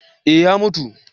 eh ya mutu